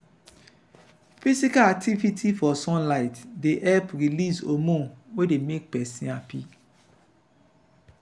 physical activity for sunlight dey help release homorne wey dey make person happy